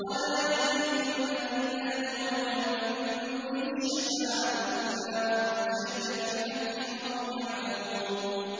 وَلَا يَمْلِكُ الَّذِينَ يَدْعُونَ مِن دُونِهِ الشَّفَاعَةَ إِلَّا مَن شَهِدَ بِالْحَقِّ وَهُمْ يَعْلَمُونَ